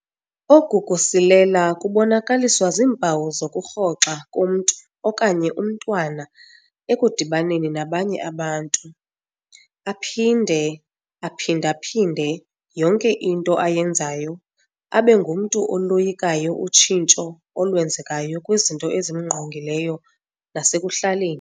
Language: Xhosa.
Oku kusilela kubonakaliswa ziimpawu zokurhoxa komntu okanye umntwana ekudibaneni nabanye abantu. Aphinde aphinda-phinde yonke into ayenzayo, abengumntu oloyikayo utshintsho olwenzekayo kwizinto ezimngqongileyo nasekuhlaleni.